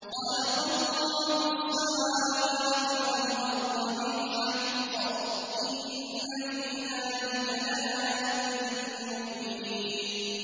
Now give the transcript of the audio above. خَلَقَ اللَّهُ السَّمَاوَاتِ وَالْأَرْضَ بِالْحَقِّ ۚ إِنَّ فِي ذَٰلِكَ لَآيَةً لِّلْمُؤْمِنِينَ